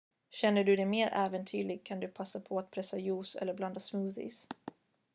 känner du dig mer äventyrlig kan du passa på att pressa juice eller blanda smoothies